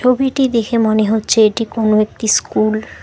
ছবিটি দেখে মনে হচ্ছে এটি কোনো একটি স্কুল ।